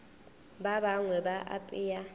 ba bangwe ba a apea